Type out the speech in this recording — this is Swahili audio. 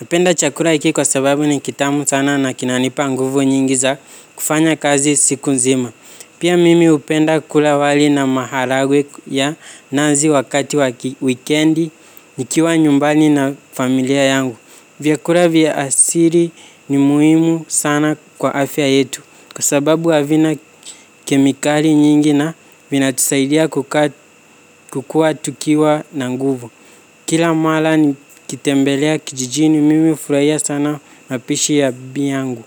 Hupenda chakula hiki kwa sababu ni kitamu sana na kinanipa nguvu nyingi za kufanya kazi siku nzima. Pia mimi hupenda kula wali na maharagwe ya nazi wakati wa wikendi nikiwa nyumbani na familia yangu. Vyakula vya asili ni muhimu sana kwa afya yetu kwa sababu havina kemikali nyingi na vinatusaidia kukuwa tukiwa na nguvu. Kila mara nikitembelea kijijini mimi hufurahia sana napishi ya bibi yangu.